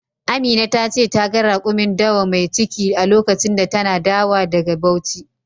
Amina ta ce ta ga rakumin dawa mai ciki a lokacin da tana dawa daga Bauchi.